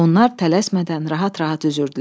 Onlar tələsmədən rahat-rahat üzürdülər.